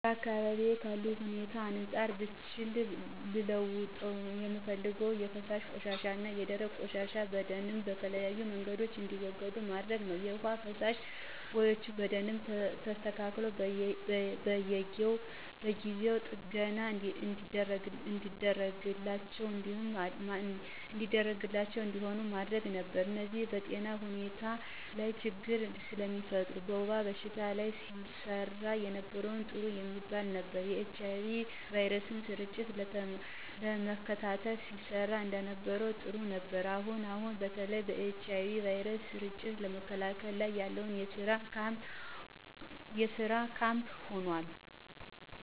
በአካባቢዬ ካለው ሁኔታ አንፃር ብችል ልለውጠው የምፈልገው የፈሳሽ ቆሻሻና የደረቅ ቆሻሻ በደምብ በተለያየ መንገድ እንዲወገድ ማድረግ ነው። የውሃ መፋሰሻ ቦዮች በደንብ የተስተካሉና በየጊው ጥገና የሚደረግላቸው እንዲሆኑ አደረግ ነበር። እነዚህ በጤና ሁኔታ ላች ችግር ስለሚፈጥር። በወባ በሽታ ላይ ሲሰራ የነበረው ጥሩ የሚባል ነበር። የኤች አይ ቪ ስርጭትን ለመከላከል ሲሰራ የነበረው ጥሩ ነበር። አሁን አሁን በተለይ በኤች አይ ቪ ስርጭትን ለመከላከል ላይ ያለው ስራ ካም ሆኖል።